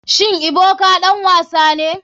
Shin ebuka ɗan wasa ne.